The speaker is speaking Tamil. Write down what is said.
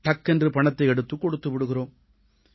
டக்கென்று பணத்தை எடுத்துக் கொடுத்து விடுகிறோம்